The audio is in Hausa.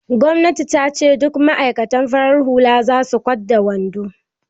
Gwannati ta ce "Duka ma'aikatan farar hula su sa kwat da wando"!